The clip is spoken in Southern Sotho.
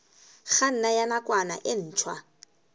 kganna ya nakwana e ntshwa